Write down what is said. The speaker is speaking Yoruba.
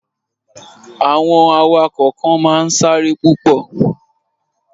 Àwọn awakọ̀ kan máa n sáré púpọ̀